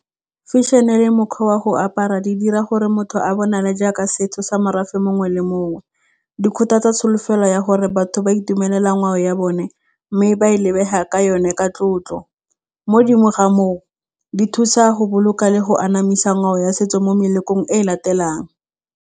Fashion-e le mokgwa wa go apara di dira gore motho a bonale jaaka setso sa morafe mongwe le mongwe. tsa tsholofelo ya gore batho ba itumelela ngwao ya bone mme ba e lebega ka yone ka tlotlo. Modimo ga moo, di thusa go boloka le go anamisa ngwao ya setso mo melekong e e latelang.